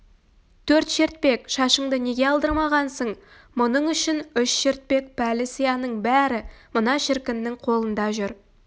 төрт шертпек шашыңды неге алдырмағансың мұның үшін үш шертпек пәлі сияның бәрі мына шіркіннің қолында жүр